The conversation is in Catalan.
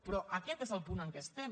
però aquest és el punt en què estem